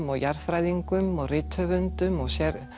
og jarðfræðingum og rithöfundum og